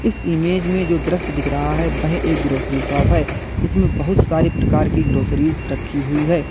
इस इमेज में जो दृश्य दिख रहा है वह एक ग्रॉसरी शॉप है इसमें बोहोत सारे प्रकार की ग्रोसरीज रखी हुई है।